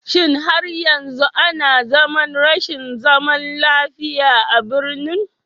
Shin har yanzu ana zaman rashin zaman lafiya a birnin?